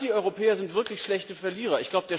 Die Antieuropäer sind wirklich schlechte Verlierer.